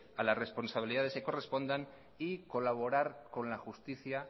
a las responsabilidades que correspondan y colaborar con la justicia